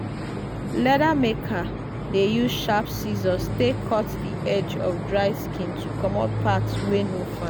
leather maker dey use sharp scissors take cut the edge of dried skin to comot parts wey no fi